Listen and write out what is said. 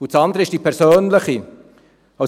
– Das andere ist die persönliche Seite.